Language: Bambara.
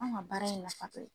Anw ka baara in na tɛ